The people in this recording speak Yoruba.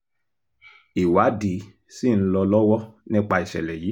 ìwádìí ṣì ń lọ lọ́wọ́ nípa ìṣẹ̀lẹ̀ yìí